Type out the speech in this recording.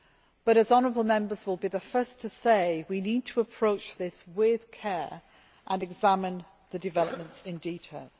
But as honourable Members will be the first to say, we need to approach this with care and examine the developments in detail.